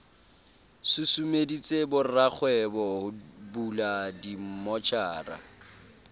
susumeditse borakgwebo ho bula dimmotjhara